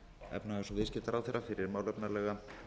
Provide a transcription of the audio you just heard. efnahags og viðskiptaráðherra fyrir málefnalega